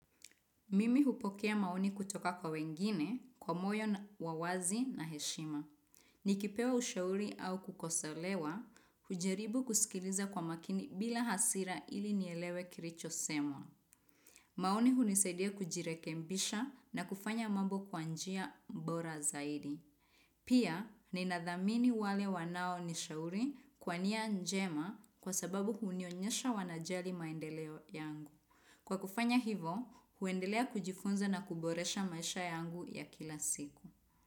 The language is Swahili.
Mimi hupokea maoni kutoka kwa wengine kwa moyo wa wazi na heshima. Nikipewa ushauri au kukosolewa, hujaribu kusikiliza kwa makini bila hasira ili nielewe kilichosemwa. Maoni hunisadia kujirekebisha na kufanya mambo kwa njia bora zaidi. Pia, ninadhamini wale wanaonishauri kwa nia njema kwa sababu hunionyesha wanajali maendeleo yangu. Kwa kufanya hivo, huendelea kujifunza na kuboresha maisha yangu ya kila siku.